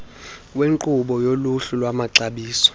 wenkqubo yoluhlu lwamaxabiso